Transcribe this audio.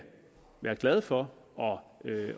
være glade for